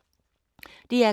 DR K